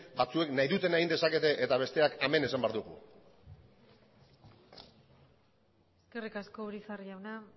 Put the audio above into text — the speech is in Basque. batzuek nahi dutena egin dezakete eta besteak amen esan behar dugu eskerrik asko urizar jauna